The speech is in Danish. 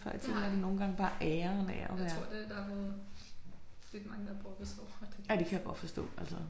Det har de. Jeg tror det nogen det der er nogen lidt mange der brokker sig over det